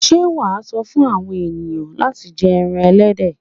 Ṣé wà sọ fún àwọn ẹ̀yàn láti jẹ ẹran Ẹlẹ́dẹ̀.